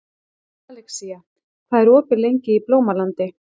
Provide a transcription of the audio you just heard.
Alexía, hvað er opið lengi í Blómalandi?